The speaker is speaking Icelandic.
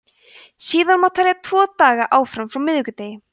síðan má telja tvo daga áfram frá miðvikudegi